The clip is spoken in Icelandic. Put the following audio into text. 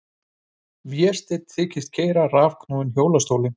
Vésteinn þykist keyra rafknúinn hjólastólinn.